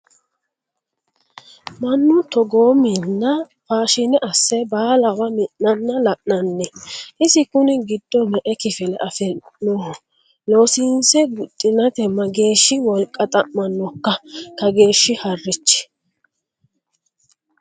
Mannu togo minna faashine asse baallawa mi'nanna lananni isi kuni giddo me"e kifile afi'noho loosiise guxinate mageeshshi wolqa xa'manokka kageeshshi harachi ?